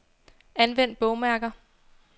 Anvend bogmærker.